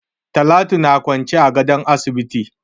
Talatu na kwance a gadon asibiti.